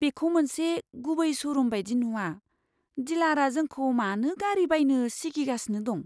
बेखौ मोनसे गुबै श'रुम बायदि नुआ। डिलारआ जोंखौ मानो गारि बायनो सिगिगासिनो दं?